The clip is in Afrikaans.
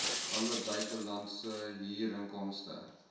alle buitelandse huurinkomste